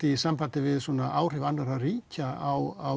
í sambandi við áhrif ríkja á